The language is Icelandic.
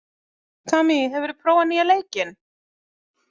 Kamí, hefur þú prófað nýja leikinn?